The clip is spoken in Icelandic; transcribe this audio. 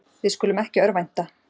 Við skulum ekki örvænta.